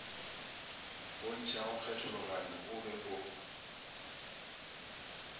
bontšhago kgethologanyo o be o